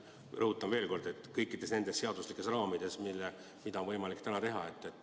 Rõhutan veel kord, et see võiks toimuda kõikides nendes seadusandlikes raamides, nii, nagu praegu on võimalik teha.